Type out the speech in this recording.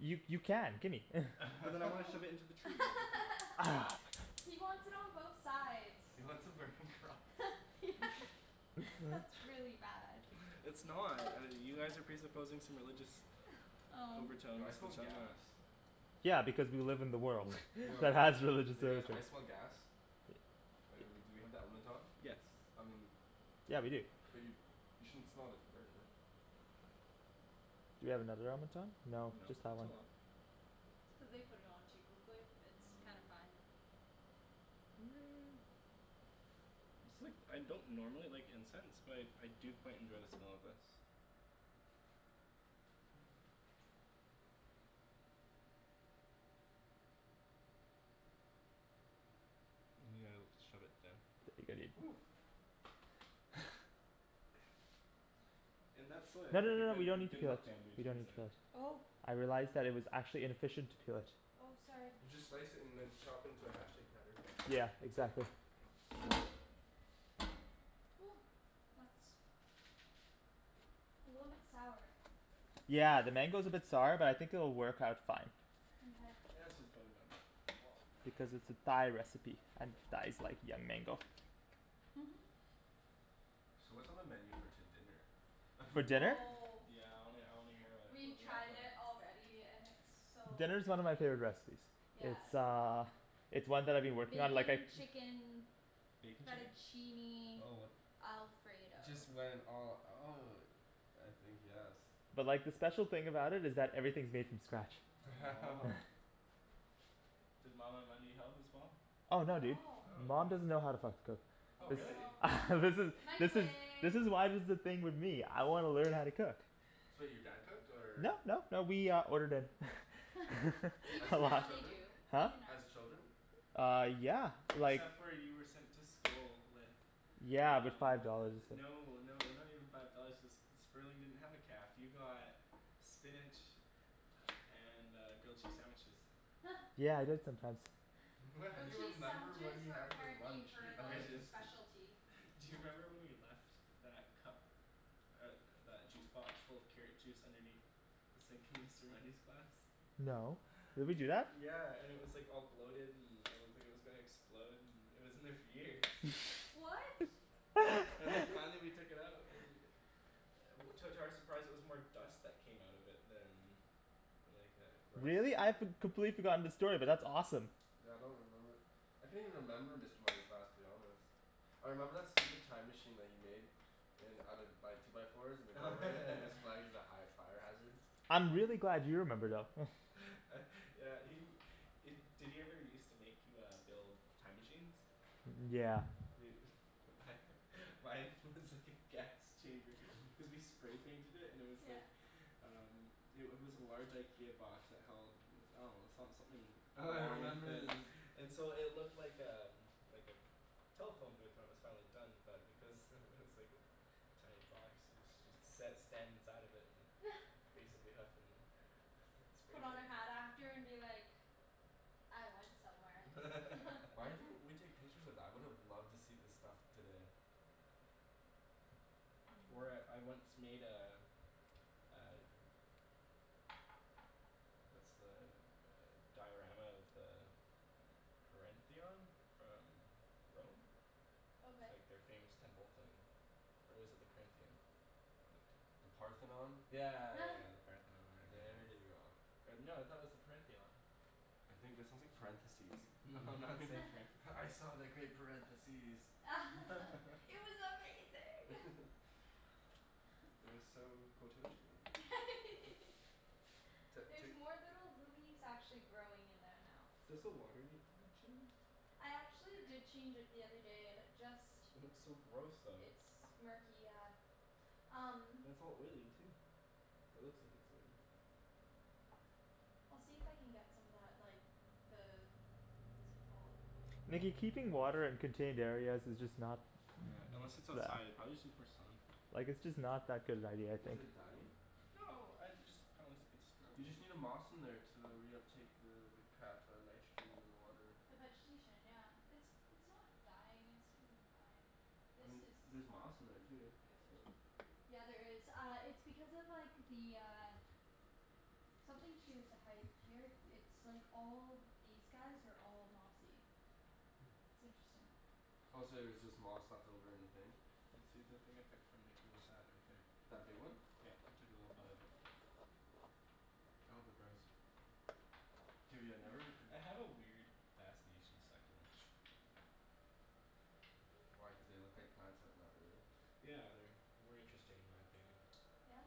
You you can, gimme But then I wanna shove it into the tree He wants it on both sides. He wants a burning cross. That's really bad. It's not, uh you guys are presupposing some religious overtone Yo I smell gas. Yeah because we live in the world that has religious You guys, rituals. I smell gas. Uh we do we have the element on? I mean - but you you shouldn't smell if you're burning it. Do we have another element on? No, No, just it's that one. not on. Cuz they put it on too quickly, it's kinda fine. It's like I don't normally like incense but I I do quite enjoy the smell of this. Yeah, shove it down No no no no we don't need to peel that, we don't need to peel that. Oh I realized that it was actually inefficient to peel it. Oh, sorry. You just slice it and then chop it into a hashtag pattern. Yeah, exactly. Ooh, that's A little bit sour. Yeah, the mango's a bit sour but I think it'll work out fine. Mkay Yeah, it's for the bug in my butt, my wallet Because it's a Thai recipe and Thais like young mango. Mhm So what's on the menu for to- dinner? For dinner? Oh Yeah I wanna I wanna hear wha- what We've we got tried it planned. already and it's so Dinner's one yummy. of my favorite recipes. Yeah It's uh it's one that I've been working on like I Bacon chicken Bacon chicken? fettuccine alfredo Just went all out. I think yes. But like the special thing about it is that everything's made from scratch. Does mama help as well? Oh no dude, No. Oh man. mom doesn't know how to fucking cook. Oh Oh This really? no. This is this is this Microwave is why there's this thing with me. I wanna learn how to cook. So your dad cooked or No, no, no, we uh ordered in As a Even as now lot they children? do, Huh? even now. As children? Uh, yeah, like Except for you were sent to school with Yeah, but Um, five dollars, it's like no no they're not even five dollars cuz Sperling didn't have a caf, you got spinach and uh grilled cheese sandwiches. Yeah, I did sometimes. Grilled You cheese remember what sandwiches he were had for apparently lunch in her I like elementary just school. specialty. Do you remember when we left that cup, uh that juice box full of carrot juice underneath the sink in Mr. Mundy's class? No, did we do that? Yeah, and it was like all bloated and it looked like it was gonna explode and it was in there for years. What? And then finally we took it out and To- to our surprise it was more dust that came out of it than than like uh gross Really? I've com- completely forgotten the story, but that's awesome. Yeah I don't remember. I can't even remember Mr. Mundy's class to be honest. I remember that stupid time machine that he made. In out of by two by fours in the doorway and it was flagged as a high fire hazard. I'm really glad you remember though uh yeah he- did he ever used to make you uh build time machines? Yeah. Dude mine was just like a gas chamber cuz we spray painted it and it was like Yeah Um, it wa- was a large IKEA box that held I dunno, some- something Oh, I long and remember thin the and so it looked like um, like a telephone booth when it was finally done but because it was like this tiny box so- so you sat or stand inside of it and basically huffin' spray Put on a hat after paint and be like "I went somewhere" Why didn't we take pictures of that? I would've loved to see the stuff today. Or I- I once made a uh What's the uh diorama of the Parentheon? From Rome? Okay Like their famous temple thing. Or is it the Corinthian? One of the The two. Parthenon? Yeah yeah yeah yeah, the Parthenon or whatever There you it go. was. Or no, I thought it was the "Parentheon". I think that sounds like parentheses. No I'm not saying parentheses. "I saw the great parentheses." It was amazing It was so quototion-y it's li- it's There's like more little lilies actually growing in there now. Does the water need to be changed? I actually did change it the other day and it just It looks so gross though. It's murky, yeah. Um And it's all oily too. Or it looks like it's oily. I'll see if I can get some of that like the What is it called? Nikki keeping water in contained areas is just not Yeah, unless it's outside, it prolly just needs more sun. Like it's just not that good of an idea, I Is think. it dying? No, I- it just kinda looks like it's You struggling. just need a moss in there to uh reuptake the the crap uh nitrogen in the water. The vegetation yeah, it's it's not dying it's doing fine. I This mean, there's is not moss in there too, good. so Yeah, there is, uh it's because of like the uh Something to do with the height here, it's like all these guys are all mossy. It's interesting. Oh so there's just moss left over in the thing? Yeah, see that thing I took from Nikki was that right there. That big one? Yeah, I took a little bud off it. I hope it grows. Dude, yeah, I never I have a weird fascination with succulents. Why, cuz they look like plants but not really? Yeah, they're more interesting in my opinion. Yeah?